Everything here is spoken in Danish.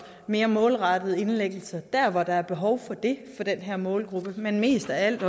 mere målrettede indlæggelser der hvor der er behov for det for den her målgruppe men mest af alt